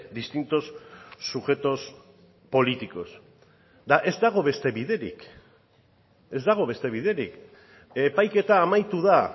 distintos sujetos políticos eta ez dago beste biderik ez dago beste biderik epaiketa amaitu da